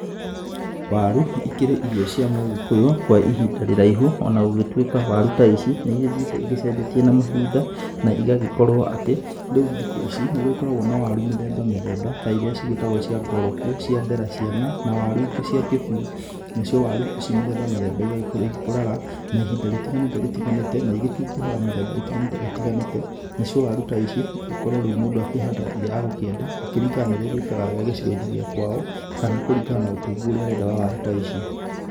Waru, ikĩrĩ irio cia mũgĩkũyũ, kwa ihinda rĩraihu, ona gũgĩtuĩka waru ta ici, nĩ igĩthiĩte igĩcenjetie na mahinda, na igagĩkorwo atĩ, rĩu thikũ ici, nĩ gũgĩkoragwo na waru mĩthemba mĩthemba, ta irĩa cigĩtagwo cia ngorobu, cia ndera ciana, na waru ingĩ cia kĩbui. Nacio waru ici mĩthemba mĩthemba igagĩkorwo igĩkũraga na ihinda rĩtiganĩte rĩtiganĩte, na igĩtunguhaga mĩthemba ĩtiganĩte. Nacio waru ta ici, korwo rĩu mũndũ akĩhandaga ĩrĩa agũkĩenda, gũkĩringana na irĩa igĩkaga wega gĩcigo-in gĩa kwao, kana kũringana na ũtungu ũrĩa arenda wa waru ta ici.